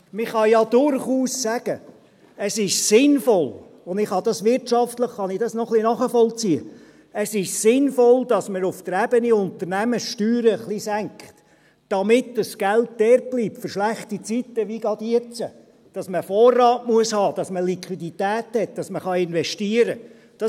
Man kann ja durchaus sagen, es sei sinnvoll – und wirtschaftlich kann ich das noch ein bisschen nachvollziehen –, es sei sinnvoll, dass man auf der Ebene Unternehmen die Steuern etwas senkt, damit das Geld dortbleibt, für schlechte Zeiten, wie jetzt gerade, weil man einen Vorrat haben muss, damit man Liquidität hat, damit man investieren kann.